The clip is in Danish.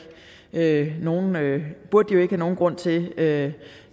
have nogen nogen grund til at